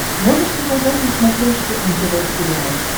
можешь показать на смотрешке нтв сериал